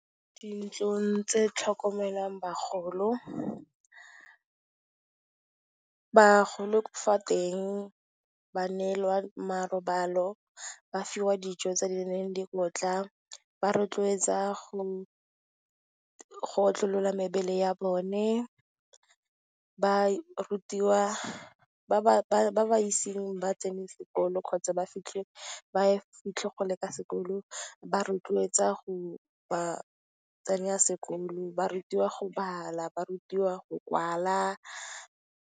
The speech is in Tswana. Dintlong tse tlhokomelang bagolo, bagolo fa teng ba neelwa marobalo, ba fiwa dijo tse di neng dikotla, ba rotloetsa go otlolola mebele ya bone, ba rutiwa, ba ba iseng ba tsene sekolo kgotsa, ba ise ba fitlhe kgole ka sekolo, ba ba rotloetsa go ba tsenya sekolo, ba rutiwa go bala, ba rutiwa go kwala.